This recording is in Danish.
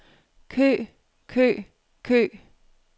kø kø kø